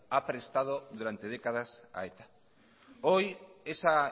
ha prestado durante décadas a eta hoy esa